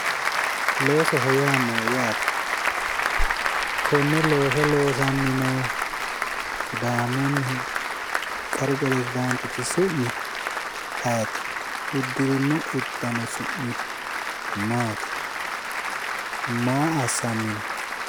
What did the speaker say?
Loosoho yaa maayyaate? konne looso loosanni noohu sidaamunnihu qaru peresidaantichi su'mi ayeeti? uddirino uddano su'mino maati? maa assanni no?